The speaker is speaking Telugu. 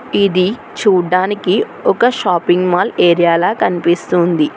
ఇది చూడ్డానికి ఒక షాపింగ్ మాల్ ఏరియాల కనిపిస్తుంది.